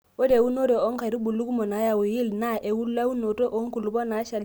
ore eunore oo nkaitubulu kumok nayau yield naa elaunoto oo nkulupuok naashali naa tenkaraki olameyu